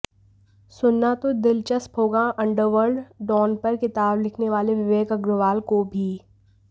सुनना तो दिलचस्प होगा अंडरवर्ल्ड डॉन पर किताब लिखने वाले विवेक अग्रवाल को भी